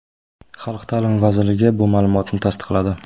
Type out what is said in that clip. Xalq ta’limi vazirligi bu ma’lumotni tasdiqladi.